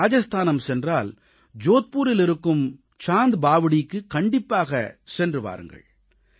நீங்கள் ராஜஸ்தானம் சென்றால் ஜோத்பூரில் இருக்கும் சாந்த் பாவ்டீக்குக் கண்டிப்பாகச் சென்று பாருங்கள்